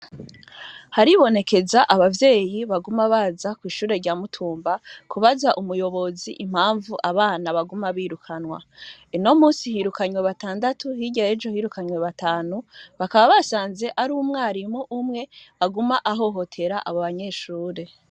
Haribonekeza abavyeyi baguma baza kw'ishure rya Mitumba, kubaza umuyobozi impamvu abana baguma birukanywa. Uno munsi hirukanwe batandatu, ejo hirukanwe batanu, bakaba basanze ari umwarimu umwe aguma ahohotera abo banyeshure.